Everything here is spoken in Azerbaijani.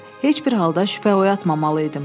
Heç bir halda şübhə oyatmamalı idim.